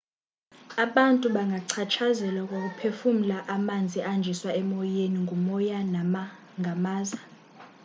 abantu bangachatshazelwa kukuphefumla amanzi ahanjiswa emoyeni ngumoya nangamaza